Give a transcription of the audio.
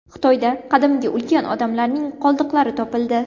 Xitoyda qadimgi ulkan odamlarning qoldiqlari topildi.